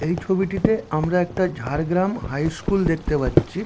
এই ছবিটিতে আমরা একটা ঝাড়গ্রাম হাই স্কুল দেখতে পাচ্ছি।